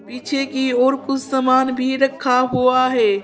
पीछे कि ओर कुछ सामान भी रखा हुआ है।